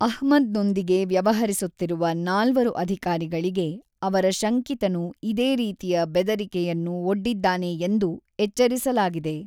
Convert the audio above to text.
ಅಹ್ಮದ್‌ನೊಂದಿಗೆ ವ್ಯವಹರಿಸುತ್ತಿರುವ ನಾಲ್ವರು ಅಧಿಕಾರಿಗಳಿಗೆ ಅವರ ಶಂಕಿತನು ಇದೇ ರೀತಿಯ ಬೆದರಿಕೆಯನ್ನು ಒಡ್ಡಿದ್ದಾನೆ ಎಂದು ಎಚ್ಚರಿಸಲಾಗಿದೆ.